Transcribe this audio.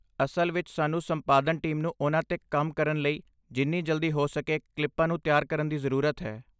ਅਸਲ ਵਿੱਚ ਸਾਨੂੰ ਸੰਪਾਦਨ ਟੀਮ ਨੂੰ ਉਹਨਾਂ 'ਤੇ ਕੰਮ ਕਰਨ ਲਈ ਜਿੰਨੀ ਜਲਦੀ ਹੋ ਸਕੇ ਕਲਿੱਪਾਂ ਨੂੰ ਤਿਆਰ ਕਰਨ ਦੀ ਜ਼ਰੂਰਤ ਹੈ।